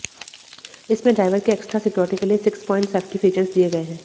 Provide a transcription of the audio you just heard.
इसमें ड्राइवर की extra security के लिए सिक्स प्वाइंट सेफ्टी फीचर्स दिए गए हैं